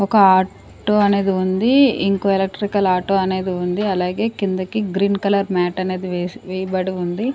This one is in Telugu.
ఒక ఆటో అనేది ఉంది ఇంకో ఎలక్ట్రికల్ ఆటో అనేది ఉంది అలాగే కిందకి గ్రీన్ కలర్ మ్యాట్ అనేది వేస్-- వేయబడి ఉంది.